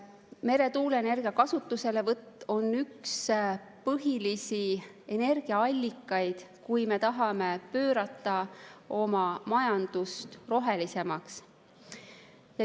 Meretuuleenergia on üks põhilisi energiaallikaid, kui me tahame muuta oma majandust rohelisemaks.